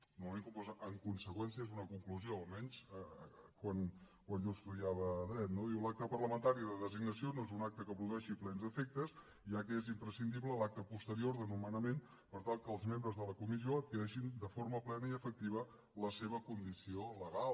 normalment quan posa en conseqüència és una conclusió almenys quan jo estudiava dret no diu l’acte parlamentari de designació no és un acte que produeixi plens efectes ja que és imprescindible l’acte posterior de nomenament per tal que els membres de la comissió adquireixin de forma plena i efectiva la seva condició legal